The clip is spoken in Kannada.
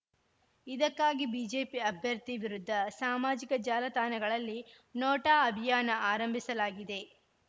ಇದಕ್ಕಾಗಿ ಬಿಜೆಪಿ ಅಭ್ಯರ್ಥಿ ವಿರುದ್ಧ ಸಾಮಾಜಿಕ ಜಾಲತಾಣಗಳಲ್ಲಿ ನೋಟಾ ಅಭಿಯಾನ ಆರಂಭಿಸಲಾಗಿದೆ